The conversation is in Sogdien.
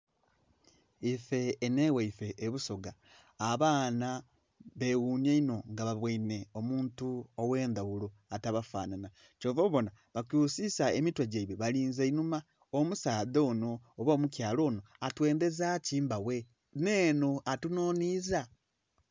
Ifee enho egheife ebusoga abaana baghunya inho nga babweinhe omuntu oghendhaghulo atabafanhanha kyova obona bakyusisa emitwe gyeibwe balinze inhuma, omusaadha onho oba omukala onho atwendheza ki mbaghe nhenho atunhonhiza.